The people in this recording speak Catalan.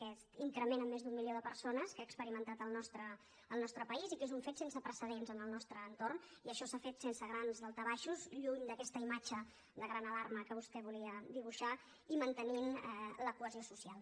aquest increment en més d’un milió de persones que ha experimentat el nostre país i que és un fet sense precedents en el nostre entorn i això s’ha fet sense grans daltabaixos lluny d’aquesta imatge de gran alarma que vostè volia dibuixar i mantenint la cohesió social